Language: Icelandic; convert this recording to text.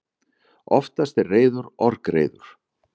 Oftast er reiður orgreiður.